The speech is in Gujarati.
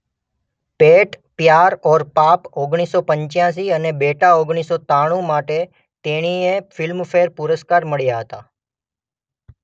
પેટ પ્યાર ઔર પાપ ઓગણીસ સો પંચ્યાસી અને બેટા ઓગણીસ સો ત્રાણુ માટે તેણીએ ફિલ્મ ફેર પુરસ્કાર મળ્યા હતાં.